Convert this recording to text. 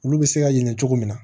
Olu bɛ se ka yɛlɛ cogo min na